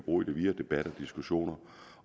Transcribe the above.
bruge i de videre debatter og diskussioner